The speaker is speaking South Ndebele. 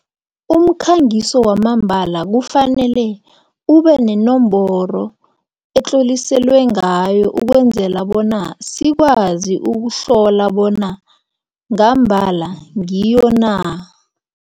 Umkhangiso wamambala kufanele ubenenomboro etlloliselwe ngayo ukwenzela bona sikwazi ukuhlola bona ngambala ngiyo na.